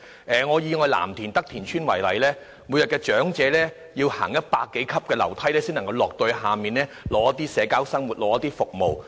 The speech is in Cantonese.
以藍田德田邨為例，長者每天要步行100多級樓梯才能到屋邨外進行社交生活和取得服務。